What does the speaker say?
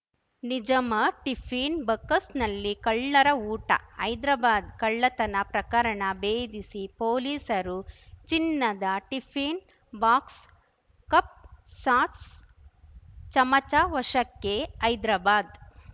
ನಿಜಮರ್ tiffin ಬಕಸ್ನಲ್ಲಿ ಕಳ್ಳರ ಊಟ ಹೈದ್ರಾಬಾದ್‌ ಕಳ್ಳತನ ಪ್ರಕರಣ ಬೇಧಿಸಿ ಪೊಲೀಸರು ಚಿನ್ನದ ಟಿಫಿನ್‌ ಬಾಕ್ಸ್‌ ಕಪ್‌ ಸಾಸ್ ಚಮಚ ವಶಕ್ಕೆ ಹೈದರಾಬಾದ್‌